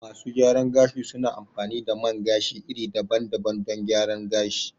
Masu gyaran gashi su na amfani da man gashi iri daban daban don gyara gashi